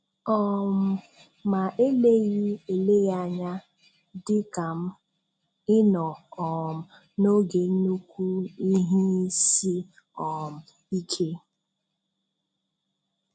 um Ma eleghị eleghị anya, dị ka m, ị nọ um n'oge nnukwu ihe isi um ike.